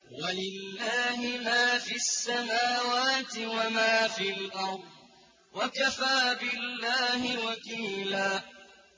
وَلِلَّهِ مَا فِي السَّمَاوَاتِ وَمَا فِي الْأَرْضِ ۚ وَكَفَىٰ بِاللَّهِ وَكِيلًا